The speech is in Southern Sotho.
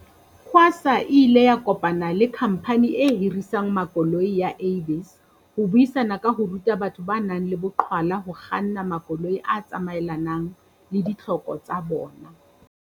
QASA e ile ya kopana le khamphani e hirisang makoloi ya Avis ho buisana ka ho ruta batho ba nang le boqhwala ho kganna makoloi a tsamaelanang le ditlhoko tsa bona.